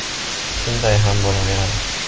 Shunday ham bo‘laveradi”.